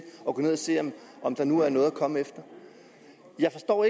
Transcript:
gå ind og se om der nu var noget at komme efter jeg forstår